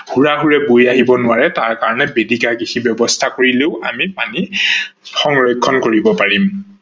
হুৰা হুৰে বৈ আহি নোৱাৰে তাৰ কাৰনে বেদিকা কৃষি ব্যৱস্থা কৰিলেও আমি পানী সংৰক্ষন কৰিব পাৰিম।